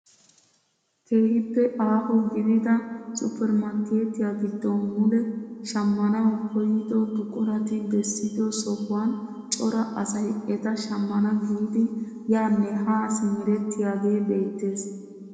Keehippe aaho gidida supermarkketiyaa giddon mule shammanawu koyido buqurati bessido sohuwaan cora asay eta shammana giidi yaanne haa simerettiyaagee beettees!